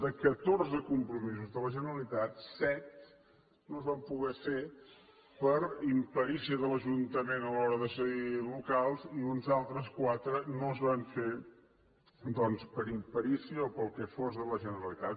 de catorze compromisos de la generalitat set no es van poder fer per imperícia de l’ajuntament a l’hora de cedir locals i uns altres quatre no es van fer doncs per imperícia o pel que fos de la generalitat